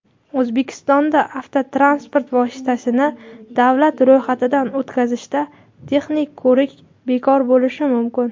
O‘zbekistonda avtotransport vositasini davlat ro‘yxatidan o‘tkazishda texnik ko‘rik bekor bo‘lishi mumkin.